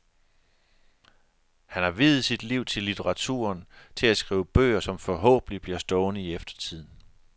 Han har viet mit liv til litteraturen, til at skrive bøger, som forhåbentlig bliver stående i eftertiden.